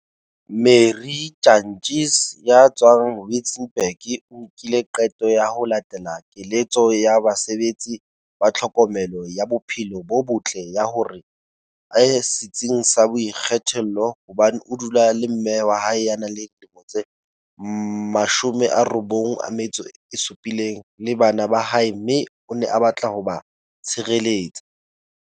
Marie Jantjies ya tswang Witzenberg o nkile qeto ya ho latela keletso ya basebetsi ba tlhokomelo ya bophelo bo botle ya hore a ye setsing sa boikgethollo hobane o dula le mme wa hae ya nang le dilemo tse 97 le bana ba hae mme o ne a batla ho ba tshireletsa.